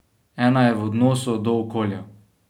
Ena je v odnosu do okolja.